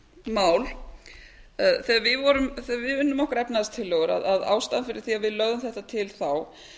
mál þegar við unnum okkar efnahagstillögur að ástæðan fyrir því að við lögðum þetta til þá